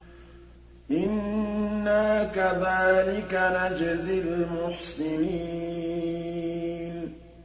إِنَّا كَذَٰلِكَ نَجْزِي الْمُحْسِنِينَ